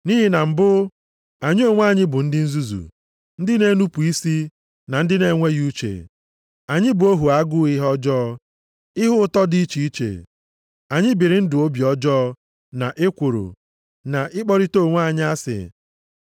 Nʼihi na mbụ, anyị onwe anyị bụ ndị nzuzu, ndị na-enupu isi, na ndị na-enweghị uche. Anyị bụ ohu agụụ ihe ọjọọ, na ihe ụtọ dị iche iche. Anyị biri ndụ obi ọjọọ na ekworo, na ịkpọrịta onwe anyị asị.